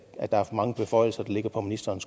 er for mange beføjelser der ligger på ministerens